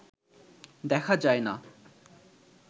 দেখা যায় না